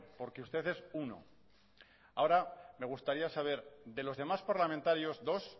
porque usted es uno ahora me gustaría saber de los demás parlamentarios dos